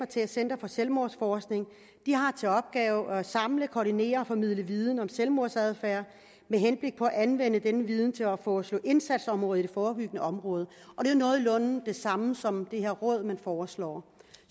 til at center for selvmordsforskning har til opgave at samle koordinere og formidle viden om selvmordsadfærd med henblik på at anvende den viden til at foreslå indsatsområder i det forebyggende område og det er nogenlunde det samme som det her råd man foreslår